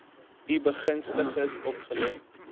u begunstigdes opgelê